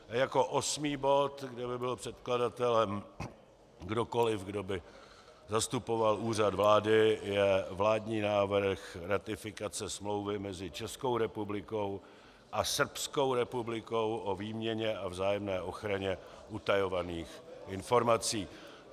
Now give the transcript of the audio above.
Jako osmý bod, kde by byl předkladatelem kdokoli, kdo by zastupoval Úřad vlády, je vládní návrh ratifikace Smlouvy mezi Českou republikou a Srbskou republikou o výměně a vzájemné ochraně utajovaných informací.